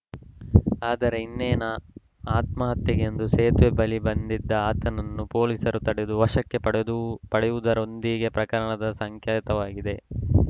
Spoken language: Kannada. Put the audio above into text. ಆದರೆ ಇನ್ನೇನ ಆತ್ಮಹತ್ಯೆಗೆಂದು ಸೇತುವೆ ಬಳಿ ಬಂದಿದ್ದ ಆತನನ್ನು ಪೊಲೀಸರು ತಡೆದು ವಶಕ್ಕೆ ಪಡೆಯುವು ಪಡೆಯುವುದರೊಂದಿಗೆ ಪ್ರಕರಣ ಸುಖಾಂತ್ಯವಾಗಿದೆ